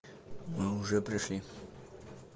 мы уже пришли